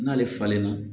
N'ale falenna